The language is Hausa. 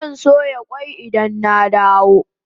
Zan soya kwai ina dawo gida